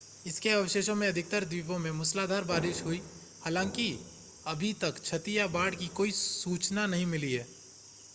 इसके अवशेषों से अधिकतर द्वीपों में मूसलाधार बारिश हुई हालांकि अभी तक क्षति या बाढ़ की ऐसी कोई सूचना नहीं मिली है